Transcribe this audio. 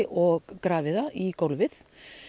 og grafið það í gólfið